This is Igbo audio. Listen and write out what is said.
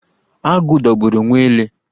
Agụ dogburu nwa ele.